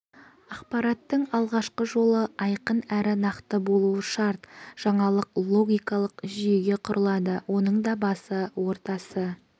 ақпараттың алғашқы жолы айқын әрі нақты болуы шарт жаңалық логикалық жүйеге құрылады оның да басы ортасы